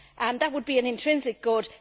That would be an intrinsic good.